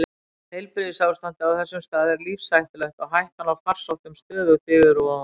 Heilbrigðisástandið á þessum stað er lífshættulegt og hættan á farsóttum stöðugt yfirvofandi.